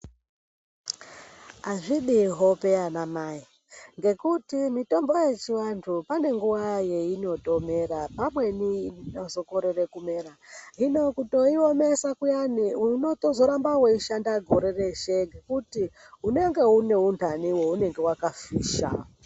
Azvidi hope anamayi, ngekuti mitombo yechivantu panenguwa yayinotomera. Pamweni yozokorere kumera. Hino, kutoyiwomesa kuyane unotozoramba weyishanda gore rese nekuti unenge unewundane wawunenge wakafisha.